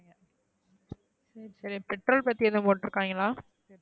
சரி petrol பத்தி எதுவும் போட்டுருகைங்களா